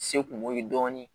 Se kungo ye dɔɔnin